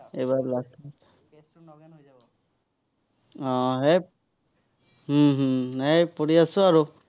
আহ এৰ হম হম এৰ পঢ়ি আছো আৰু।